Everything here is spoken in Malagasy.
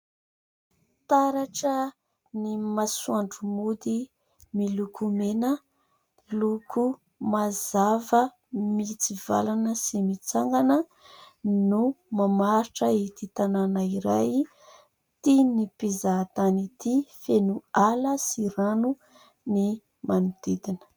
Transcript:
Taratra ny masoandro mody, miloko mena. Loko mazava mitsivalana sy mitsangana no mamaritra ity tanàna iray tian'ny mpizahatany ity ; feno ala sy rano ny manodidina.